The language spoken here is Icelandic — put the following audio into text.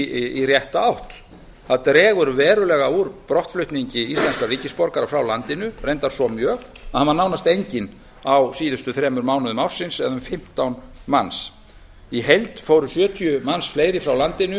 í rétta átt það dregur verulega úr brottflutningi íslenskra ríkisborgara frá landinu reyndar svo mjög að hann var nánast enginn á síðustu þremur mánuðum ársins eða um fimmtán manns í heild fóru sjötíu manns fleiri frá landinu